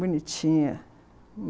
Bonitinha.